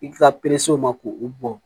I ka ma k'o bɔ